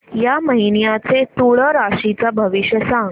या महिन्याचं तूळ राशीचं भविष्य सांग